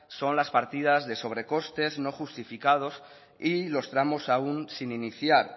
son las partidas de sobrecostes no justificados y los tramos aún sin iniciar